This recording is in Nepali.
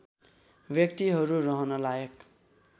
व्यक्तिहरू रहन लायक